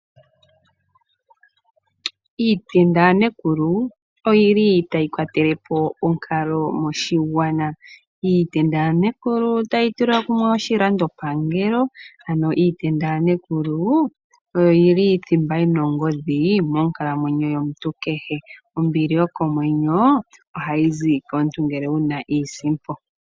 Iipenda yaNekulu oyili tayi kwatelepo onkalo moshigwana. Iipenda yaNekulu otayi tula kumwe oshilandopangelo. Ano Iipenda yaNekulu oyo yili thimba yina ongodhi monkalamwenyo yomuntu kehe. Ombili yokomwenyo ohayi zi komuntu ngele wuna iisimpo.